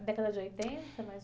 Década de oitenta, mais ou menos?